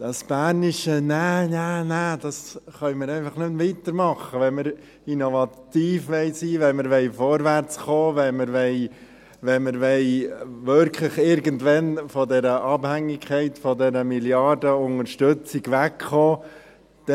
Mit diesem bernischen «Nä, nä, nä» können wir nicht weitermachen, wenn wir innovativ sein wollen, wenn wir vorwärtskommen wollen, wenn wir wirklich irgendwann von dieser Abhängigkeit, von dieser Milliardenunterstützung wegkommen wollen.